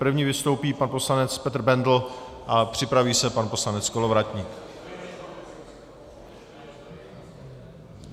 První vystoupí pan poslanec Petr Bendl a připraví se pan poslanec Kolovratník.